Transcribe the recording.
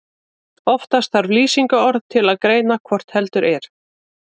Oftast þarf lýsingarorð til að greina hvort heldur er.